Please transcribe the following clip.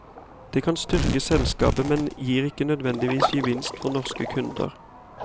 Det kan styrke selskapet, men gir ikke nødvendigvis gevinst for norske kunder.